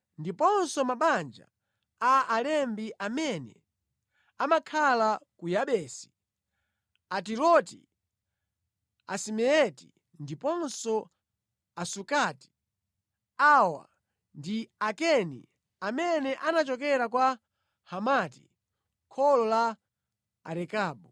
ndiponso mabanja a alembi amene amakhala ku Yabesi: Atiroti, Asimeati ndiponso Asukati. Awa ndi Akeni amene anachokera kwa Hamati, kholo la Arekabu.